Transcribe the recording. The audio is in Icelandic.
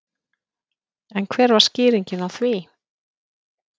En hver var skýringin á því?